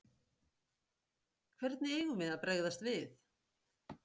Hvernig við eigum að bregðast við?